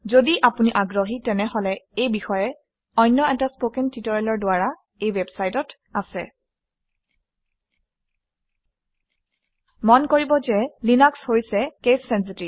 যদি আপুনি আগ্ৰহী তেনেহলে এই বিষয়ে অন্য এটা কথন প্ৰশিক্ষণ এই ৱেবচাইটত আছে মন কৰিব যে লিনাক্স হৈছে কেচ চেনচিটিভ